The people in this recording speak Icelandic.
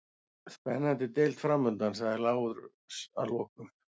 Spennandi deild framundan, sagði Lárus að lokum.